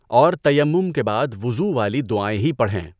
اور تیمم کے بعد وضوء والی دعائیں ہی پڑھیں۔